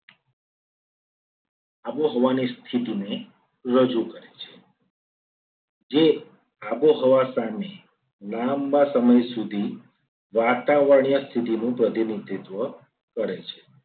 આબોહવાની સ્થિતિને રજૂ કરે છે. જે આબોહવા સામે લાંબા સમય સુધી વાતાવરણીય સ્થિતિનું પ્રતિનિધિત્વ કરે છે.